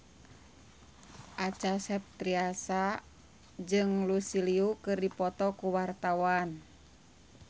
Acha Septriasa jeung Lucy Liu keur dipoto ku wartawan